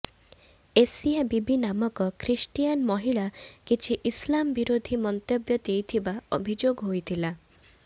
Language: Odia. ଏସିଆ ବିବି ନାମକ ଖ୍ରୀଷ୍ଟିଆନ ମହିଳା କିଛି ଇସଲାମ ବିରୋଧି ମନ୍ତବ୍ୟ ଦେଇଥିବା ଅଭିଯୋଗ ହୋଇଥିଲା